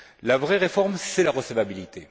Mais la vraie réforme, c'est la recevabilité.